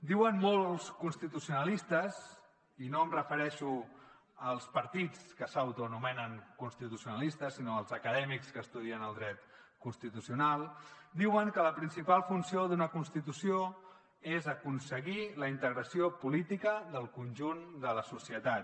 diuen molts constitucionalistes i no em refereixo als partits que s’autoanomenen constitucionalistes sinó als acadèmics que estudien el dret constitucional diuen que la principal funció d’una constitució és aconseguir la integració política del conjunt de la societat